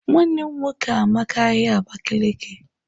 Nwannem nwoke amaka ahia Abakiliki.